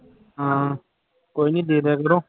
ਹਾਂ ਕੋਈ ਨੀ ਦੇ ਦਿਆ ਕਰੋ